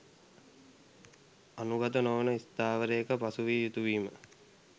අනුගත නොවන ස්ථාවරයක පසුවිය යුතු වීම